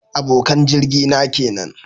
Abokan jirgi na kenan